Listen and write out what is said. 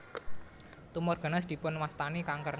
Tumor ganas dipun wastani kanker